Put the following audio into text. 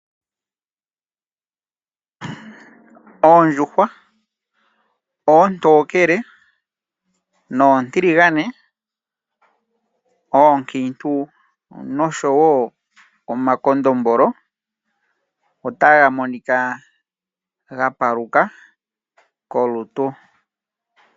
Oondjuhwa, oontokele nontiligane, oonkiintu noshowo omakondombolo otadhi monika dha paluka kolutu.